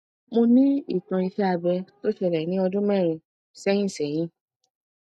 mo ní ìtàn iṣé abẹ tó ṣẹlẹ ní ọdún mẹrin sẹyìn sẹyìn